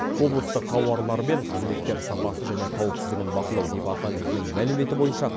облыстық тауарлар мен қызметтер сапасы және қауіпсіздігін бақылау департаментінің мәліметі бойынша